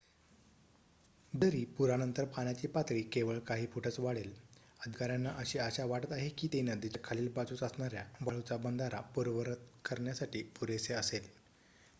जरी पुरानंतर पाण्याची पातळी केवळ काही फूटच वाढेल अधिकाऱ्यांना अशी आशा वाटत आहे की ते नदीच्या खालील बाजूस असणाऱ्या वाळूचा बंधारा पूर्ववत करण्यासाठी पुरेसे असेल